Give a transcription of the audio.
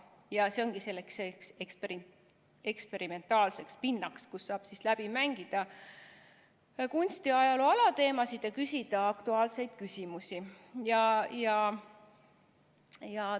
Ja see ongi eksperimentaalne pind, kus saab läbi mängida kunstiajaloo alateemasid ja küsida aktuaalseid küsimusi.